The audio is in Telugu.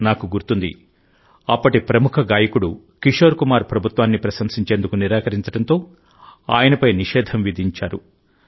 నాకు గుర్తుంది అప్పటి ప్రముఖ గాయకుడు కిషోర్ కుమార్ ప్రభుత్వాన్ని ప్రశంసించేందుకు నిరాకరించడంతో ఆయనపై నిషేధం విధించారు